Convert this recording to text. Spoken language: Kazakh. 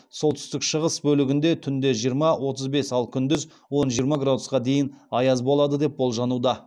солтүстік шығыс бөлігінде түнде жиырма отыз бес ал күндіз он жиырма градусқа дейін аяз болады деп болжануда